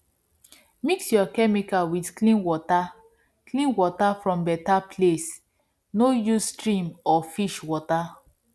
mix your chemical with clean water clean water from better place no use stream or fish water